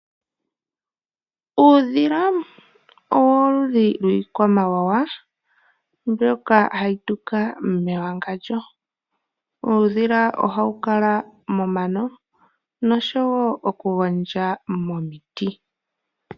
Uudhila owoludhi lwiikwamawawa mbyoka hayi tuka mewangandjo . Uudhila ohawu kala momano noshowo okugondja momiti.